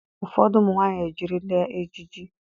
Ụfọdụ ụmụ nwaanyị ejirila ejiji.